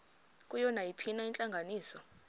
kuyo nayiphina intlanganiso